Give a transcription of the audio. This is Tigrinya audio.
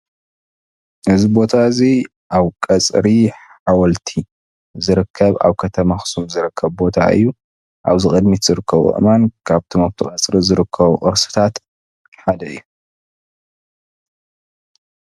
ኣብ ቀፅሪ ሓወልቲ ኣኽሱም ዝርከብ ታሪኻዊ እምኒ እዩ።